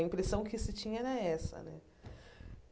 A impressão que se tinha era essa, né?